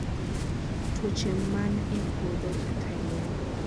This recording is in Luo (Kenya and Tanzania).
tuoche man e puodho kata yien